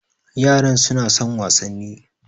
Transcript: Yaran su na son wasanni